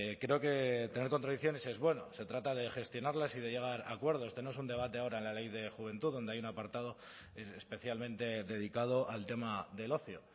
creo que tener contradicciones es bueno se trata de gestionarlas y de llegar a acuerdos este no es un debate ahora la ley de juventud donde hay un apartado especialmente dedicado al tema del ocio